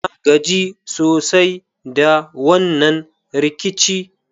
Na gaji sosai da wannan rikici.